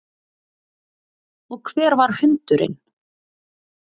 Og hver var hundurinn?